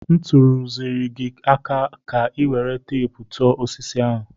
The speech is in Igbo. M tụziri gi aka ka ị were teepu tụọ osisi ahụ.